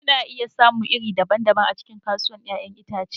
Kuna iya samun iri-iri daban-daban a cikin kasuwar 'ya'yan itace.